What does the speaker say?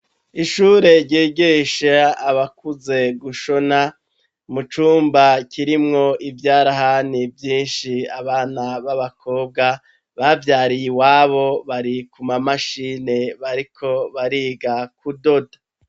Ishure ryigisha abakuze gushona ,mu cumba kirimwo ivyarahani vyinshi ,abana b'abakobwa bavyariye iwabo barikuma mashini bariko bariga ku doda.